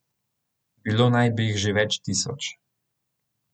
Bilo naj bi jih že več tisoč.